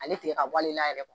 Ale tile tigɛ ka bɔ ale yɛrɛ la